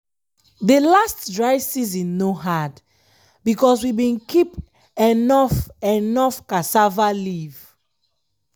de last dry season no hard because we bin keep enough enough cassava leaf.